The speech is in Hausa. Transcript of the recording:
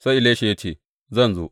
Sai Elisha ya ce Zan zo.